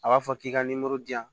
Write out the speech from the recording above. A b'a fɔ k'i ka di yan